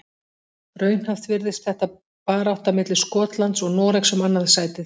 Raunhæft virðist þetta barátta milli Skotlands og Noregs um annað sætið.